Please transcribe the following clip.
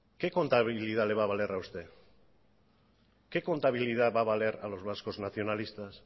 qué contabilidad le va a valer a usted qué contabilidad va a valer a los vascos nacionalistas